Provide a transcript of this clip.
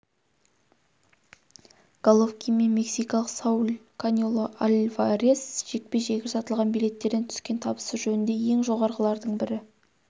головкин мен мексикалық сауль канело альварес жекпе-жегі сатылған билеттерден түскен табысы жөнінде ең жоғарғылардың бірі